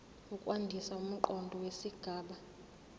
ukwandisa umqondo wesigaba